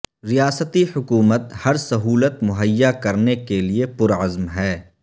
ریاستی حکومت ہر سہولت مہیا کرنے کے لئے پرعزم ہے